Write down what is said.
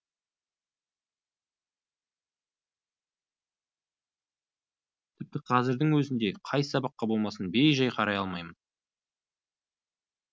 тіпті қазірдің өзінде қай сабаққа болмасын бей жай қарай алмаймын